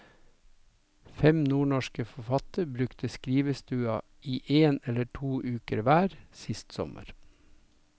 Fem nordnorske forfattere brukte skrivestua i en eller to uker hver sist sommer.